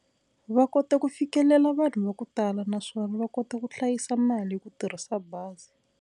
Va kota ku fikelela vanhu va ku tala naswona va kota ku hlayisa mali hi ku tirhisa bazi.